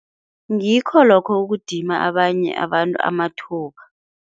Ngikho lokho ukudima abanye abantu amathuba.